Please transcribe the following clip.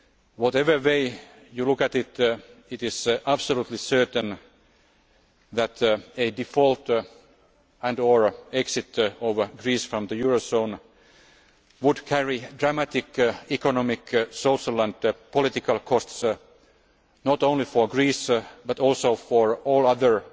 Whatever way you look at it, it is absolutely certain that a default and or exit of Greece from the eurozone would carry dramatic economic, social and political costs, not only for Greece but also for all other